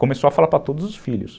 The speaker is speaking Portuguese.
Começou a falar para todos os filhos.